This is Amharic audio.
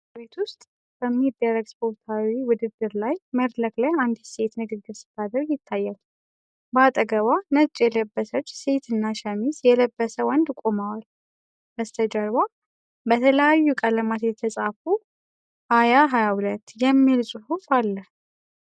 በቤት ውስጥ በሚደረግ ስፖርታዊ ውድድር ላይ መድረክ ላይ አንዲት ሴት ንግግር ስታደርግ ይታያል። በአጠገቧ ነጭ የለበሰች ሴት እና ሸሚዝ የለበሰ ወንድ ቆመዋል። በስተጀርባ በተለያዩ ቀለማት የተጻፈ "2022 IWBF AFRICA WORLD CHAMPIONSHIP QUALIFIERS" የሚል ጽሑፍ አለ።